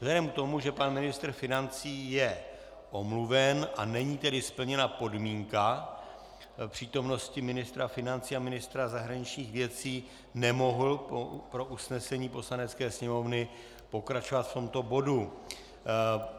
Vzhledem k tomu, že pan ministr financí je omluven a není tedy splněna podmínka přítomnosti ministra financí a ministra zahraničních věcí, nemohu pro usnesení Poslanecké sněmovny pokračovat v tomto bodu.